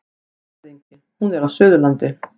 LANDSHÖFÐINGI: Hún er á Suðurlandi.